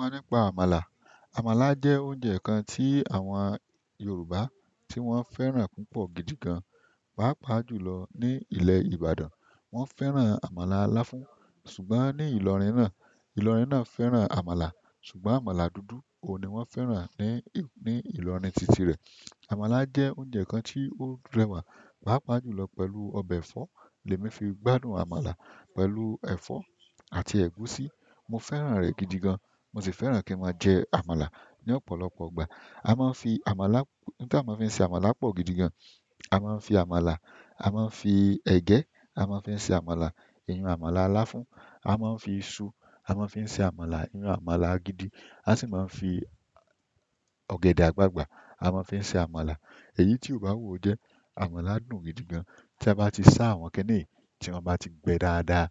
Waá nípa àmàlà. Àmàlà jẹ́ oúnjẹ kan tí àwọn Yorùbá tí wọ́n fẹ́ràn púpọ̀ gidi gan. Páápàá jùlọ ní ilẹ̀ Ìbàdàn, wọ́n fẹ́ràn àmàlà láfún ṣùgbọ́n ní Ìlọrin náà, Ìlọrin náà fẹ́ràn àmàlà ṣùgbọ́n àmàlà dúdú òun ni wọ́n fẹ́ràn ní, ní Ìlọrin titi rẹ̀. Àmàlà jẹ oúnjẹ kan ti o rẹwà. Paapaa julọ pẹ̀lú ọbẹ ẹ̀fọ́ lèmi fi gbádùn àmàlà pẹ̀lú ẹ̀fọ́ àti ẹ̀gúsí. Mo fẹ́ràn rẹ̀ gidi gan, mo sì fẹ́ràn kí n máa jẹ àmàlà ní ọ̀pọ̀lọpọ̀ ìgbà. A máa ń fi àmàlà, ohun tí a máa ń fi se àmàlà pọ̀ gidi gan, a máa ń fi àmàlà, a máa ń fi ẹ̀gẹ́, a máa ń fi se àmàlà, ìyẹn àmàlà aláfún. A máa ń fi iṣu, a máa ń fi se àmàlà, ìyẹn àmàlà gidi. A sì máa ń fi ọ̀gẹ̀dẹ̀ àgbagbà, a máa ń fi se àmàlà. Èyí tí o bá wu o jẹ́, àmàlà dùn gidi gan. Tí a bá ti sá àwọn kiniyi, tí wọ́n bá ti gbẹ dáadáa,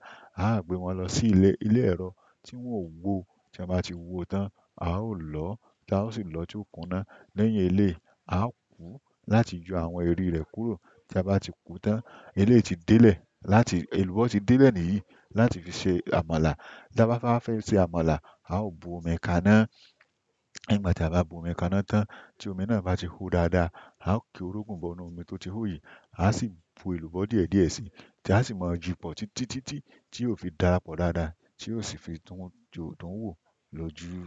a ó gbé wọn lọ sí ilé, ilé ẹrọ tí wọ́n ó wò. Tí wọ́n bá ti wò tán, a ó lọ táa ó sì lọ tió kuná. Lẹ́yìn eléi, a ó kú láti yọ àwọn eri rẹ̀ kúrò. Tí a bá ti kú tán, eléi ti délẹ̀ láti, èlùbọ́ ti délẹ̀ ni yìí láti fi ṣe àmàlà. Tí a bá fẹ́ fẹ se àmàlà, a ó bú omi kaná. Nígbà tí a bá bu omi kaná tán, tí omi náà bá ti hó dáadáa, a ó ki orógùn bọ inú omi tó ti hó yìí, a sì bu èlùbọ́ díẹ̀díẹ̀ síi tí a sì máa yi pọ̀ títítítí tí yóò fi darapọ̀ dáadáa tí yóò sì fi tún dùn wò lojú.